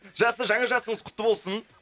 жақсы жаңа жасыңыз құтты болсын